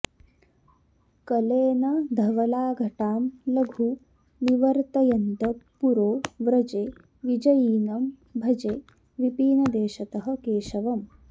कलेन धवलाघटां लघु निवर्तयन्तं पुरो व्रजे विजयिनं भजे विपिनदेशतः केशवम्